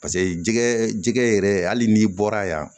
Paseke jɛgɛ jɛgɛ yɛrɛ hali n'i bɔra yan